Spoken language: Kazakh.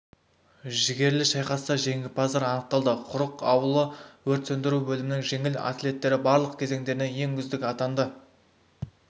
жігерлі шайқаста жеңімпаздар анықталды құрық ауылы өрт сөндіру бөлімінің жеңіл атлеттері барлық кезеңдерінен ең үздік атанды